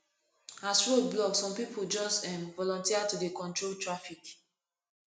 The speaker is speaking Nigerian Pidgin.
as road block some pipu just um volunteer to dey control traffic